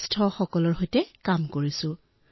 মই জ্যেষ্ঠ নাগৰিকসকলৰ সৈতে কম কৰিছো